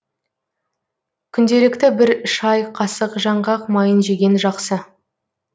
күнделікті бір шай қасық жаңғақ майын жеген жақсы